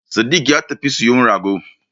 Sadik ya tafi siyo rago